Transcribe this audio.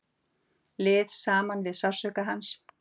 Líð saman við sársauka hans.